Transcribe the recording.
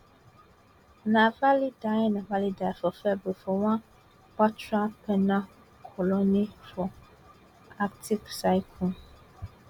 navalny die navalny die for february for one brutal penal colony for arctic circle